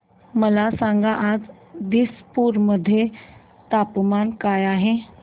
मला सांगा आज दिसपूर मध्ये तापमान काय आहे